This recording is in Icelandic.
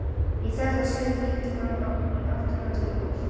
Í þetta sinn lítur hann í áttina til hennar.